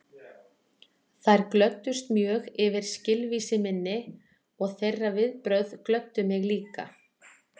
Þær glöddust mjög yfir skilvísi minni og þeirra viðbrögð glöddu mig líka.